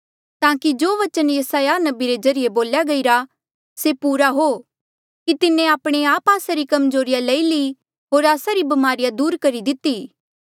ताकि जो बचन यसायाह नबी रे ज्रीए बोल्या गईरा था से पूरा हो कि तिन्हें आपणे आप आस्सा री कम्जोरिया लई ली होर आस्सा री ब्मारिया उठाई दिती